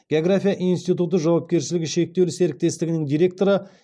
география институты жауапкершілігі шектеулі серіктестігінің директоры